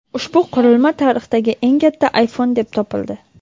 Ushbu qurilma tarixdagi eng katta iPhone deb topildi.